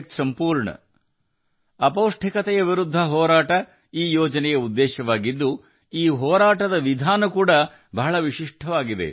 ಈ ಯೋಜನೆಯ ಉದ್ದೇಶವು ಅಪೌಷ್ಟಿಕತೆಯ ವಿರುದ್ಧ ಹೋರಾಡುವುದಾಗಿದೆ ಮತ್ತು ವಿಧಾನವು ತುಂಬಾ ವಿಶಿಷ್ಟವಾಗಿದೆ